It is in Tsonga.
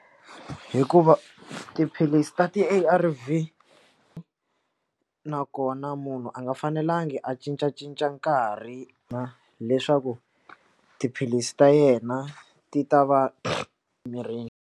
Hikuva tiphilisi ta ti-A_R_V nakona munhu a nga fanelangi a cincacinca nkarhi na leswaku tiphilisi ta yena ti ta va mirini.